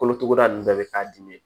Kolotuguda ninnu bɛɛ bɛ k'a dimi